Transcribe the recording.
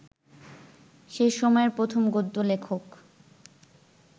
সে সময়ের প্রথম গদ্য-লেখক